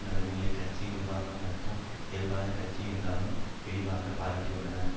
நடுநிலையான கட்சி நிர்வாகம் நடத்தும் இயல்பான கட்சி என்றெல்லாம் வெகுவாகப் பாராட்டியுள்ளார்